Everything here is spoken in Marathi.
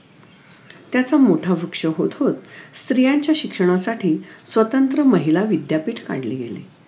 त्याचा मोठा वृक्ष होत होत स्त्रियांच्या शिक्षणासाठी स्वतंत्र महिला विद्यापीठ काढली गेली